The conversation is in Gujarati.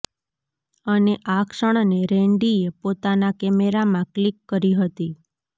અને આ ક્ષણને રૈંડીએ પોતાના કેમેરામાં ક્લિક કરી હતી